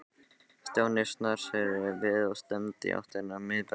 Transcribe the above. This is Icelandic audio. Stjáni snarsneri við og stefndi í áttina að miðbænum.